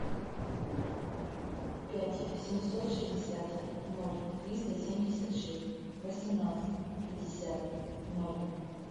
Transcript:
пять семьсот шестьдесят ноль триста семьдесят шесть восемнадцать пятьдесят ноль